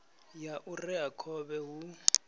ya u rea khovhe hu